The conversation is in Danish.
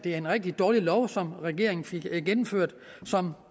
en rigtig dårlig lov som regeringen fik gennemført og som